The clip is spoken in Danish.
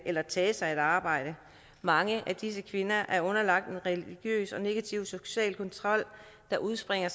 eller tage sig et arbejde mange af disse kvinder er underlagt en religiøs og negativ social kontrol der udspringer